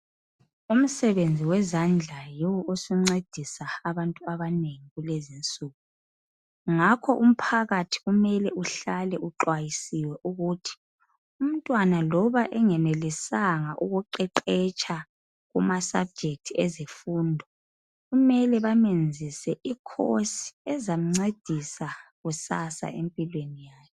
Umsebenzi wezandla yiwo osuncedisa abantu abanengi kulezi insuku. Ngakho umphakathi kumele uhlale uxwayisiwe ukuthi umntwana loba engenelisanga ukuqeqetsha kumasubject ezemfundo. Kumele bamenzise icourse ezamncedisa kusasa empilweni yakhe.